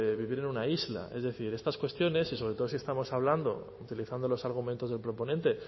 vivir en una isla es decir estas cuestiones y sobre todo si estamos hablando utilizando los argumentos del proponente